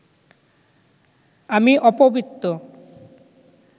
আমি অপবিত্ত